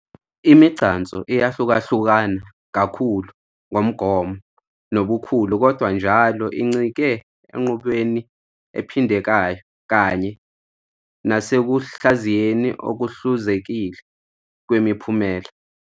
Imigcanso iyahlukahluka kakhulu ngomgomo nobukhulu kodwa njalo incike enqubweni ephindekayo kanye nasekuhlaziyeni okuhluzekile kwemiphumela.